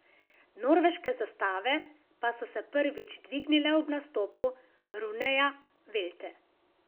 Norveške zastave pa so se prvič dvignile ob nastopu Runeja Velte.